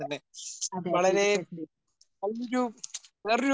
അതേ അതേ തീർച്ചയായിട്ടും തീർച്ചയായിട്ടും